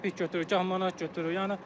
Gah qəpik götürür, gah manat götürür.